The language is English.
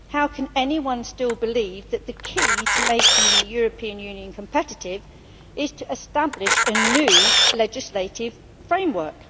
How can anyone still believe that the key to making the European Union competitive is to establish a new legislative framework?